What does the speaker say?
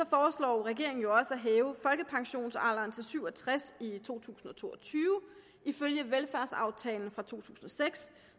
foreslår regeringen jo også at hæve folkepensionsalderen til syv og tres år i to tusind og to og tyve ifølge velfærdsaftalen fra to tusind og seks